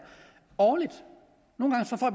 årligt